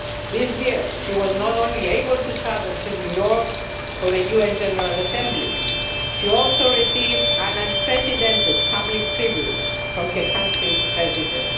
award. This year, she was not only able to travel to New York for the UN General Assembly, she also received an unprecedented public tribute from her country's President.